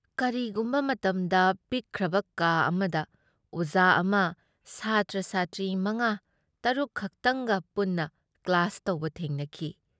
ꯀꯔꯤꯒꯤꯒꯨꯝꯕ ꯃꯇꯝꯗ ꯄꯤꯛꯈ꯭ꯔꯕ ꯀꯥ ꯑꯃꯗ ꯑꯣꯖꯥ ꯑꯃ ꯁꯥꯇ꯭ꯔ-ꯁꯥꯇ꯭ꯔꯤ ꯃꯉꯥ ꯇꯔꯨꯛꯈꯛꯇꯪꯒ ꯄꯨꯟꯅ ꯀ꯭ꯂꯥꯁ ꯇꯧꯕ ꯊꯦꯡꯅꯈꯤ ꯫